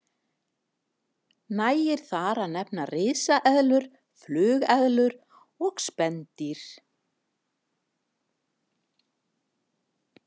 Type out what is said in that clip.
Nægir þar að nefna risaeðlur, flugeðlur og spendýr.